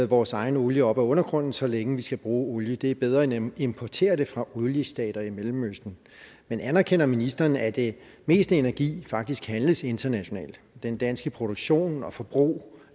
vores egen olie op af undergrunden så længe vi skal bruge olie det er bedre end at importere det fra oliestater i mellemøsten men anerkender ministeren at det meste af energien faktisk handles internationalt den danske produktion og forbrug